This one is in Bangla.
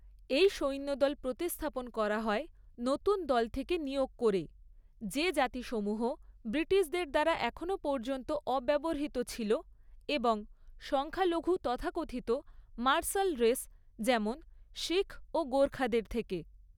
এই সৈন্যদল প্রতিস্থাপন করা হয় নতুন দল থেকে নিয়োগ করে, যে জাতিসমূহ ব্রিটিশদের দ্বারা এখনও পর্যন্ত অব্যবহৃত ছিল এবং সংখ্যালঘু তথাকথিত 'মার্শাল রেস', যেমন শিখ ও গোর্খাদের থেকে।